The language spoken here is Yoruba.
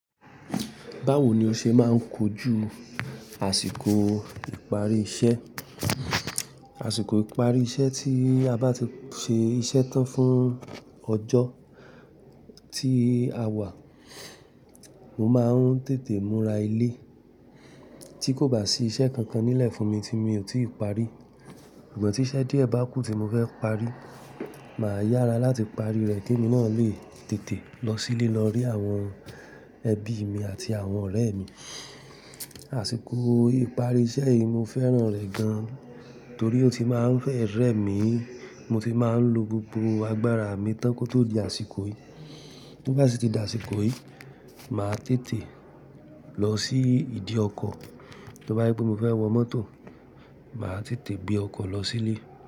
Báwo ni o ṣe máa ń kojú àsìkò ìparí iṣẹ́? Àsìkò ìparí iṣẹ́ tí a bá ti ṣe iṣẹ́ tán fún ọjọ́ tí a wà, mo máa ń tètè múra ilé tí kò bá sí iṣẹ́ kankan nílẹ̀ fún mi tí mi ò tí ì parí. Ìgbà tí iṣẹ́ díẹ̀ bá kù tí mo fẹ́ parí, màá yára láti parí rẹ̀ kí emi náà lè tètè lọ sílé lọ rí àwọn ẹbí mi àti àwọn ọ̀rẹ́ mi. Àsìkò ìparí iṣẹ́ yìí mo fẹ́ràn rẹ̀ gan, torí ó ti máa ń fẹ́ rẹ mí, mo ti máa ń lo gbogbo agbára mi tán kó tó di àsìkò yìí. To bá ṣi ti di àsìkò yìí, màá tètè lọ sí ìdí ọkọ̀. To bá jé pé mo fẹ́ wọ mọ́tò, màá tètè gbé ọkọ̀ lọ sílé.